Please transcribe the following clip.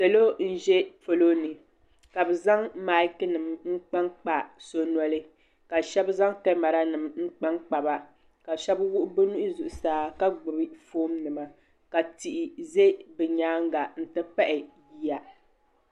Salo nʒɛ palo ni ka be zaŋ maiki nim kpankpa so noli ka shɛb zaŋ kamarq nim nkpa ba ka shɛb wuɣ be nuhi zuɣsaa ka gbibi foon nima ka tihi ʒɛ be nyaaga nti pahi yiya